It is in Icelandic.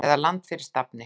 eða Land fyrir stafni!